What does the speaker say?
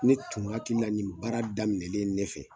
Ne tun hakilila la nin baara daminɛlen ne fɛ